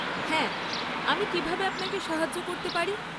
হ্যাঁ। আমি কীভাবে আপনাকে সাহায্য করতে পারি?